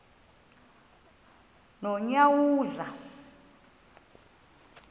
nonyawoza